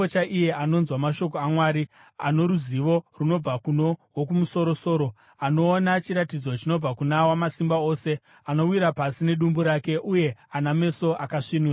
chirevo chaiye anonzwa mashoko aMwari, ano ruzivo runobva kuno Wokumusoro-soro, anoona chiratidzo chinobva kuna Wamasimba Ose, anowira pasi nedumbu rake, uye ana meso akasvinura: